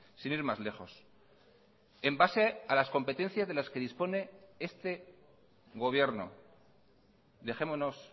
sin ir más lejos en base a las competencias de las que dispone este gobierno dejémonos